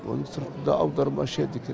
оның сыртында аудармашы еді